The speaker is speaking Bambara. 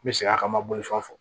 N bɛ segin a kan n ma bolifɛn fɔ